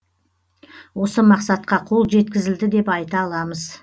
осы мақсатқа қол жеткізілді деп айта аламыз